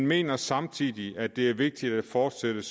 mener samtidig at det er vigtigt at fortsætte